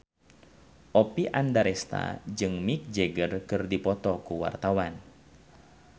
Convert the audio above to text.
Oppie Andaresta jeung Mick Jagger keur dipoto ku wartawan